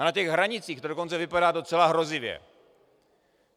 A na těch hranicích to dokonce vypadá docela hrozivě.